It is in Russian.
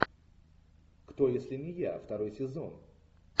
кто если не я второй сезон